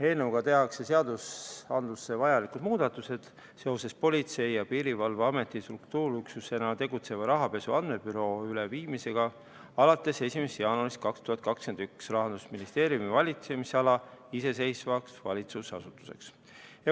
Eelnõuga tehakse seadustesse vajalikud muudatused seoses Politsei- ja Piirivalveameti struktuuriüksusena tegutseva rahapesu andmebüroo üleviimisega alates 1. jaanuarist 2021 Rahandusministeeriumi valitsemisala iseseisvaks valitsusasutuseks.